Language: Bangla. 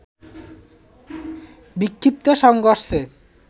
বিক্ষিপ্ত সংঘর্ষের